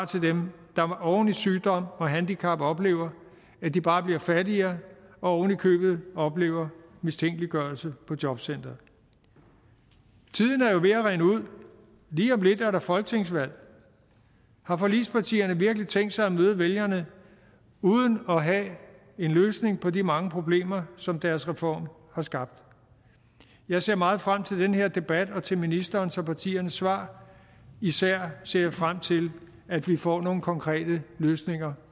til dem der oven i sygdom og handicap oplever at de bare bliver fattigere og oven i købet oplever mistænkeliggørelse på jobcenteret tiden er jo ved at rinde ud lige om lidt er der folketingsvalg har forligspartierne virkelig tænkt sig at møde vælgerne uden at have en løsning på de mange problemer som deres reform har skabt jeg ser meget frem til den her debat og til ministerens og partiernes svar især ser jeg frem til at vi får nogle konkrete løsninger